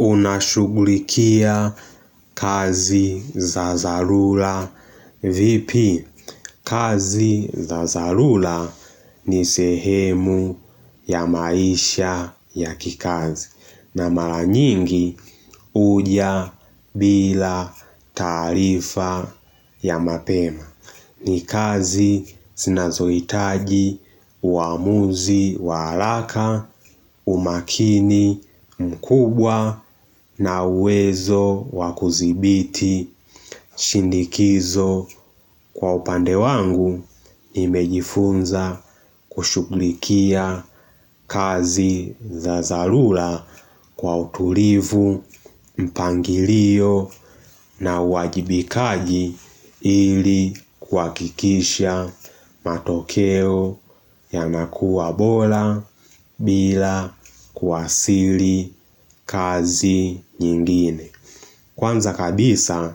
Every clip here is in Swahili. Unashughulikia kazi za dharura vipi kazi za dharura ni sehemu ya maisha ya kikazi na mara nyingi huja bila taarifa ya mapema. Ni kazi zinazohitaji uamuzi wa haraka umakini mkubwa na uwezo wakudhibiti shinikizo kwa upande wangu Nimejifunza kushhuglikia kazi za dharura kwa utulivu, mpangilio na uwajibikaji ili kuhakikisha matokeo yanakua bora bila kuathiri kazi nyingine Kwanza kabisa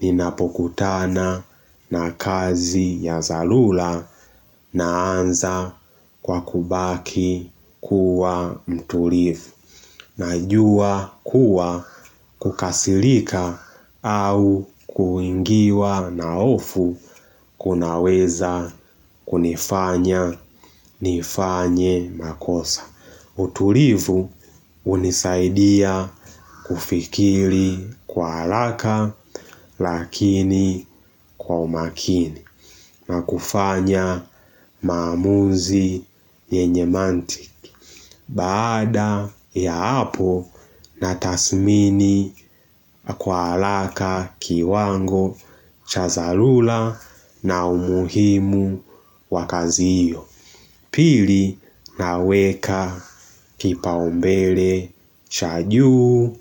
ninapokutana na kazi ya dharura naanza kwa kubaki kuwa mtulivu. Najua kuwa kukasirika au kuingiwa na hofu kunaweza kunifanya nifanye makosa. Utulivu hunisaidia kufikiri kwa haraka lakini kwa umakini na kufanya maamuzi yenye mantiki. Baada ya hapo na tathmini kwa haraka kiwango cha dharura na umuhimu wa kazi hiyo. Pili naweka kipaombele cha juu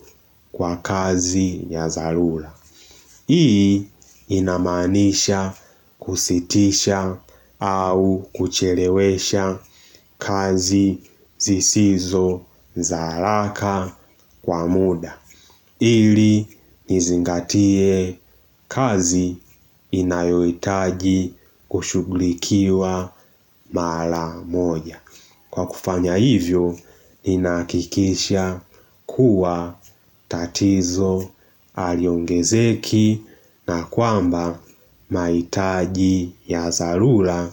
kwa kazi ya dharura Hii inamaanisha kusitisha au kuchelewesha kazi zisizo haraka kwa muda ili nizingatie kazi inayohitaji kushughulikiwa mara moja Kwa kufanya hivyo, inahakikisha kuwa tatizo aliongezeki na kwamba mahitaji ya dharura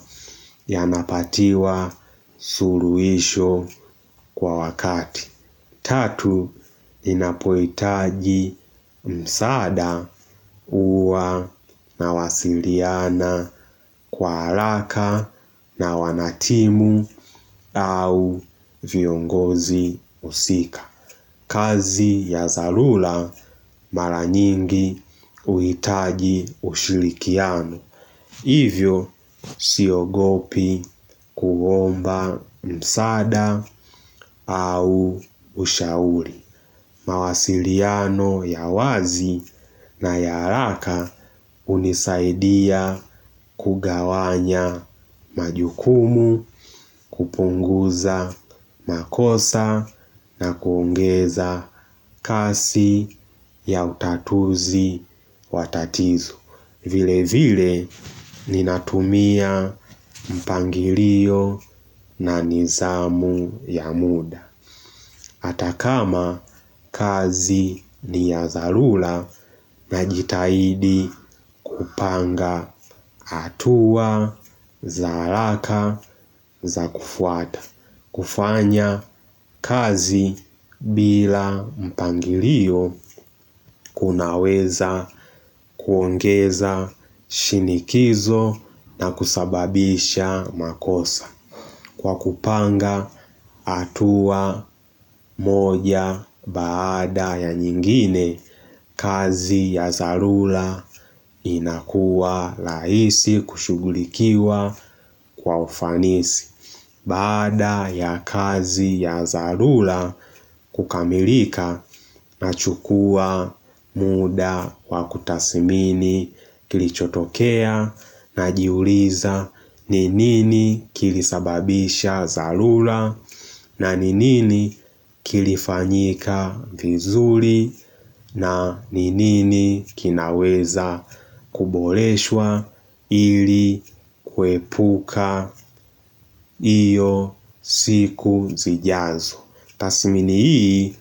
yanapatiwa suluhisho kwa wakati. Tatu, inapohitaji msaada huwa na wasiliana kwa harama na wanatimu au viongozi husika. Kazi ya dharura mara nyingi huhitaji ushirikiano. Hivyo, siogopi kuomba msaada au ushauri. Mawasiliano ya wazi na ya haraka hunisaidia kugawanya majukumu, kupunguza makosa na kuongeza kasi ya utatuzi wa tatizo. Vile vile ninatumia mpangilio na nidhamu ya muda hata kama kazi ni ya dharura najitahidi kupanga hatua za haraka za kufuata kufanya kazi bila mpangilio kunaweza kuongeza shinikizo na kusababisha makosa Kwa kupanga hatua moja baada ya nyingine kazi ya dharura inakuwa rahisi kushugulikiwa kwa ufanisi Baada ya kazi ya dharura kukamilika nachukua muda wa kutathmini kilichotokea najiuliza ni nini kilisababisha dharura na ni nini kilifanyika vizuri na ni nini kinaweza kuboreshwa ili kuepuka hiyo siku. Zijazo Tathmini hii.